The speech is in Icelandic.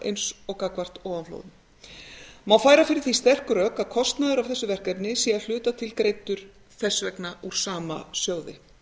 eins og gagnvart ofanflóðum má færa fyrir því sterk rök að kostnaður af þessu verkefni sé að hluta til greiddur þess vegna úr þessum sama sjóði